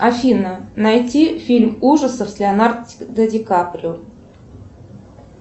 афина найти фильм ужасов с леонардо ди каприо